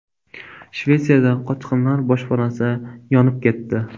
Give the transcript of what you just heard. Shvetsiyada qochqinlar boshpanasi yonib ketdi.